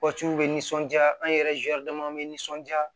bɛ nisɔndiya an yɛrɛ dama bɛ nisɔnja